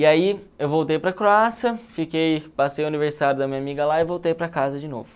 E aí eu voltei para a Croácia, fiquei passei o aniversário da minha amiga lá e voltei para casa de novo.